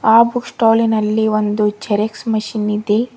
ಆ book stall ಲಿನ್ನಲ್ಲಿ ಒಂದು ಜೆರಾಕ್ಸ್ ಮಿಷಿನ್ ಇದೆ.